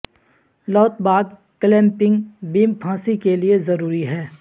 لوت بعد clamping beam پھانسی کے لئے ضروری ہے